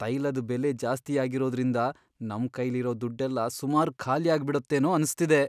ತೈಲದ್ ಬೆಲೆ ಜಾಸ್ತಿ ಆಗಿರೋದ್ರಿಂದ ನಮ್ಕೈಲಿರೋ ದುಡ್ಡೆಲ್ಲ ಸುಮಾರ್ ಖಾಲಿಯಾಗ್ಬಿಡತ್ತೇನೋ ಅನ್ಸ್ತಿದೆ.